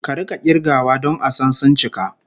Ka rika kirgawa don a san suncika